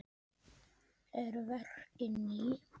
Eru verkin ný?